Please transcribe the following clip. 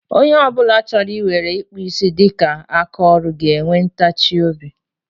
Onye ọ bụla chọrọ ị weere ịkpụ isi dịka aka ọrụ ga-enwe ntachi obi.